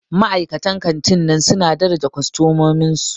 Ma'aikatan kantin nan suna daraja kostomomin su.